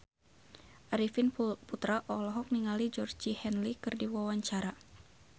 Arifin Putra olohok ningali Georgie Henley keur diwawancara